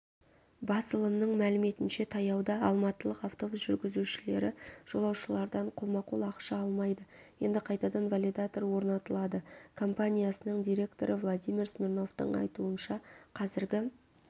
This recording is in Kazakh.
басылымның мәліметінше таяуда алматылық автобус жүргізушілері жолаушылардан қолма-қол ақша алмайды енді қайтадан валидатор орнатылады компаниясының директоры владимир смирновтің айтуынша қазіргі